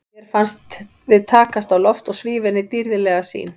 Mér fannst við takast á loft og svífa inn í dýrðlega sýn.